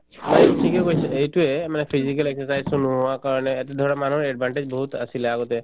মানে এইটো ঠিকে কৈছা এইটোয়ে মানে physical exercise তো নোহোৱা কাৰণে ধৰা মানুহৰ advantage বহুত আছিলে আগতে